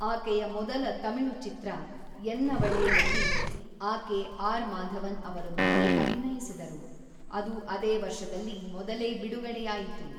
ಆಕೆಯ ಮೊದಲ ತಮಿಳು ಚಿತ್ರ ʼಎನ್ನವಳೇʼಯಲ್ಲಿ ಆಕೆ ಆರ್.‌ ಮಾಧವನ್‌ ಅವರೊಂದಿಗೆ ಅಭಿನಯಿಸಿದರು, ಅದು ಅದೇ ವರ್ಷದಲ್ಲಿ ಮೊದಲೇ ಬಿಡುಗಡೆಯಾಯಿತು.